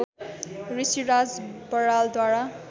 Rishiraj बरालद्वारा